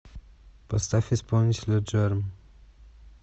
поставь исполнителя джерм